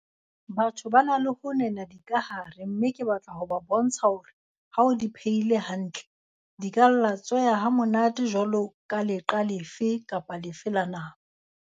Batho ba na le ho nena dikahare mme ke batla ho ba bontsha hore ha o di phehile hantle, di ka latsweha ha monate jwaloka leqa lefe kapa lefe la nama.